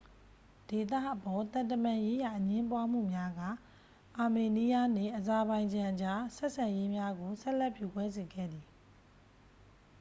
ဒေသအပေါ် သံတမန်ရေးရာ အငြင်းပွားမှုများက အာမေးနီးယားနှင့် အဇာဘိုင်ဂျန်အကြား ဆက်ဆံရေးများကို ဆက်လက်ပြိုကွဲစေခဲ့သည်